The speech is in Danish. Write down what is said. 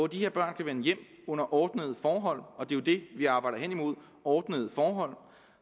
de her børn kan vende hjem under ordnede forhold og det er jo det vi arbejder hen imod ordnede forhold